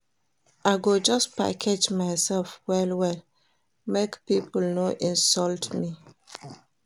I go just package mysef well-well make pipo no insult me.